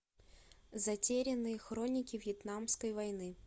затерянные хроники вьетнамской войны